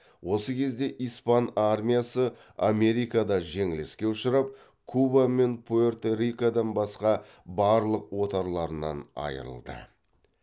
осы кезде испан армиясы америкада жеңіліске ұшырап куба мен пуэрто рикодан басқа барлық отарларынан айырылды